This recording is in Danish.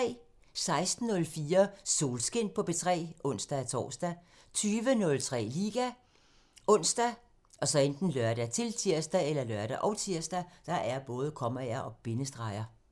16:04: Solskin på P3 (ons-tor) 20:03: Liga ( ons, lør, -tir)